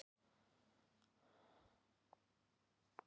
Uppsetning kaflanna er að mestu samræmd